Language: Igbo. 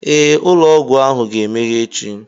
Ee, ụlọ ọgwụ ahụ ga-emeghe echi